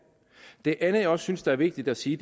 det andet jeg også synes er vigtigt at sige